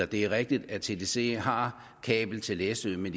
det er rigtigt at tdc har kabel til læsø men